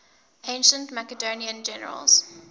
ancient macedonian generals